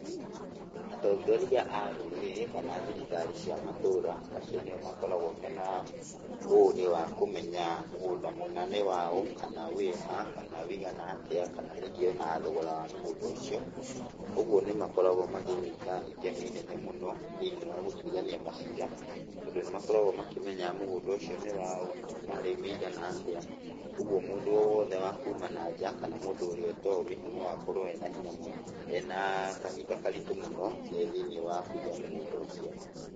Atongoria a rũrĩrĩ kana thirikari cia matũra, acio nĩ o makoragwo mena ũgĩ wa kũmenya mũgũnda mũna nĩ wa ũũ, kana wĩ ha, kana wĩigana atĩa, kana ningĩ o na thogora wa mũgũnda ũcio. Ũguo nĩ makoragwo magĩĩta itemi inene mũno thĩiniĩ wa gũtuĩrania maciira, tondũ nĩ makoragwo makĩmenya mũgũnda ũcio nĩ wa ũũ, kuuma rĩ, wĩigana atĩa. Ũguo mũndũ wothe wa kuuma nanja, kana mũndũ ũrĩa ũtaũĩ, no akorwo ena hinya mũno, ena kahinda karitũ mũno thĩiniĩ wa kũiya mũgũnda ũcio.